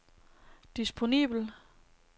disponibel